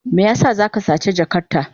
Me yasa za ka sace jakarta?